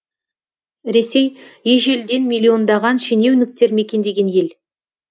ресей ежелден миллиондаған шенеуніктер мекендеген ел